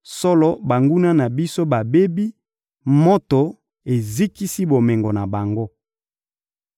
‹Solo, banguna na biso babebi, moto ezikisi bomengo na bango.›